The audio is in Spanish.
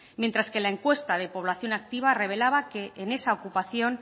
mientras que la encuesta de población activa revelaba que en esa ocupación